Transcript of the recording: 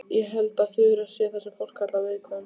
Ég held að Þura sé það sem fólk kallar viðkvæm.